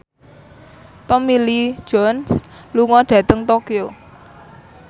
Tommy Lee Jones lunga dhateng Tokyo